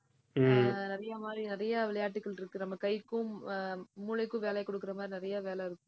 ஆஹ் நிறைய மாதிரி நிறைய விளையாட்டுகள் இருக்கு. நம்ம கைக்கும் ஆஹ் மூளைக்கும் வேலை கொடுக்கிற மாதிரி நிறைய வேலை இருக்கும்